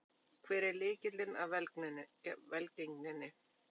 Hver er lykillinn að velgengninni?